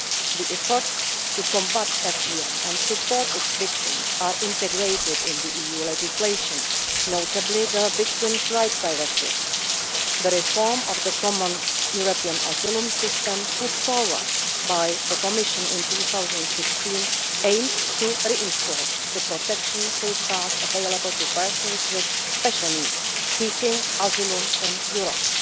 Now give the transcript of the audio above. The efforts to combat FGM and support its victims are integrated into EU legislation, notably the Victims' Rights Directive. The reform of the Common European Asylum System put forward by the Commission in 2016 aims to reinforce the protection safeguards available to persons with special needs seeking asylum in Europe.